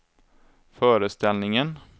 föreställningen